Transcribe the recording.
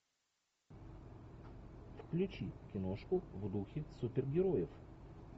включи киношку в духе супергероев